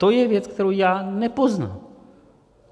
To je věc, kterou já nepoznám.